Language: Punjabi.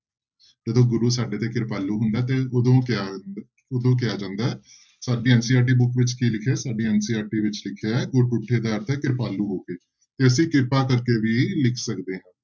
ਜਦੋਂ ਗੁਰੂ ਸਾਡੇ ਤੇ ਕਿਰਪਾਲੂ ਹੁੰਦਾ ਤੇ ਉਦੋਂ ਕਿਹਾ, ਉਦੋਂ ਕਿਹਾ ਜਾਂਦਾ ਹੈ, ਸਾਡੀ NCERT book ਵਿੱਚ ਕੀ ਲਿਖਿਆ ਸਾਡੀ NCERT ਵਿੱਚ ਲਿਖਿਆ ਹੈ ਗੁਰ ਤੁੱਠੇ ਦਾ ਅਰਥ ਹੈ ਕਿਰਪਾਲੂ ਹੋ ਕੇ ਤੇ ਅਸੀਂ ਕਿਰਪਾ ਕਰਕੇ ਵੀ ਲਿਖ ਸਕਦੇ ਹਾਂ।